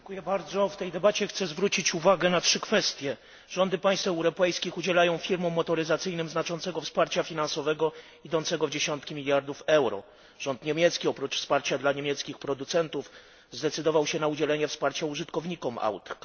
Panie Przewodniczący! Chcę w tej debacie zwrócić uwagę na trzy kwestie. Rządy państw europejskich udzielają firmom motoryzacyjnym znaczącego wsparcia finansowego, idącego w dziesiątki miliardów euro. Rząd niemiecki, oprócz wsparcia dla niemieckich producentów, zdecydował się na udzielenie wsparcia użytkownikom aut.